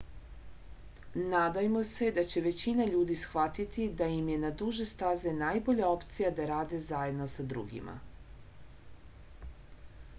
nadajmo se da će većina ljudi shvatiti da je im je na duže staze najbolja opcija da rade zajedno sa drugima